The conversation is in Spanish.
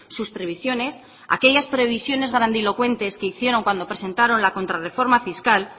sus previsiones aquellas previsiones grandilocuentes que hicieron cuando presentaron la contrarreforma fiscal